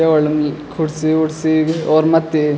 ये होटल म कुर्सी-वुरसी और मथ्थी --